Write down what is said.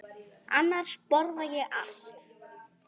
Annars borða ég allt.